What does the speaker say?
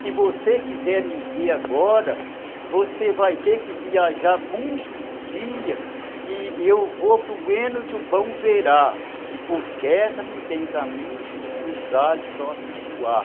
Se você quiser me ver agora, você vai ter que viajar muitos dias que eu vou para o heno do bom verá, que por terra não tem caminho para os ares só se voar.